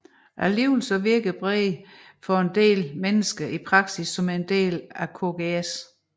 Alligevel virker Brede for en del mennesker i praksis som en del af Kgs